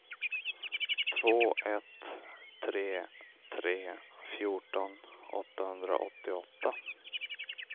två ett tre tre fjorton åttahundraåttioåtta